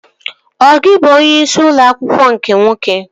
Ọ gị bụ onyeisi ụlọ akwụkwọ nke nwoke?